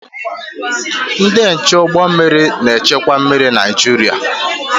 Ndị nche ụgbọ mmiri na-echekwa mmiri Naịjirịa.